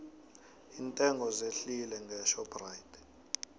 iintengo zehlile ngeshoprite